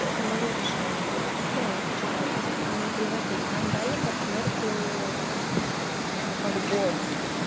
это моё решение приводить новых читателей или не приводить нам дали партнёрку как бонус